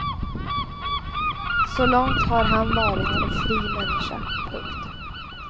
Så långt har han varit en fri människa. punkt